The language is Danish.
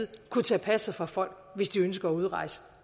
kunne tage passet fra folk hvis de ønsker at udrejse